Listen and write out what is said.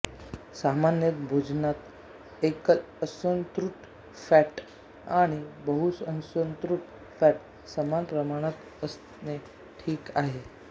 सामान्यत भोजनात एकल असंतृप्त फॅट आणि बहुअसंतृप्त फॅट समान प्रमाणात असणे ठीक आहे